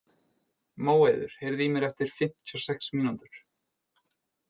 Móeiður, heyrðu í mér eftir fimmtíu og sex mínútur.